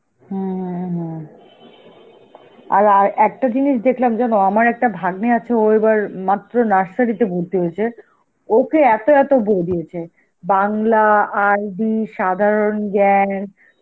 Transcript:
হম হম হম, আর~ আর একটা জিনিস দেখলাম জানো, আমার একটা ভাগ্নে আছে, ও এবার মাত্র nursery তে ভর্তি হয়েছে, ওকে এত এত বই দিয়েছে. বাংলা, আরবি, সাধারণ জ্ঞান,